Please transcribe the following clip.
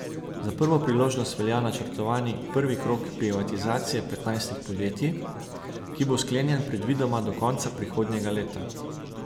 Za prvo priložnost velja načrtovani prvi krog privatizacije petnajstih podjetij, ki bo sklenjen predvidoma do konca prihodnjega leta.